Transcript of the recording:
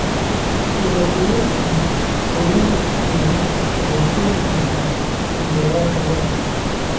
Dhibaatooyinka quudinta ku filan waxay keeni kartaa cunto yaraanta lo'da.